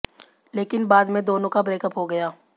लेकिन बाद में दोनों का ब्रेकअप हो गया